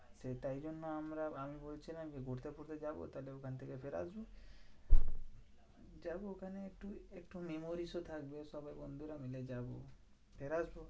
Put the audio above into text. তাই জন্য আমরা আমি বলছিলাম কি ঘুরতে ফুরতে যাবো, তাহলে ওখান থেকে ফিরে আসবো। যাবো ওখানে একটু একটু memories ও থাকবে সবাই বন্ধুরা মিলে যাবো।